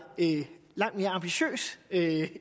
langt mere ambitiøs